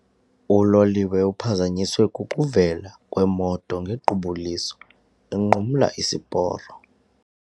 Uloliwe uphazanyiswe kukuvela kwemoto ngequbuliso inqumla isiporo.